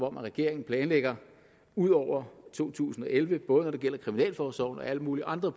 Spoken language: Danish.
om at regeringen planlægger ud over to tusind og elleve både når det gælder kriminalforsorgen og alle mulige andre